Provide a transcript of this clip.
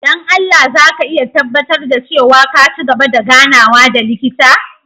Don Allah za ka iya tabbatar da cewa ka ci gaba da ganawa da likita?